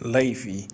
laifi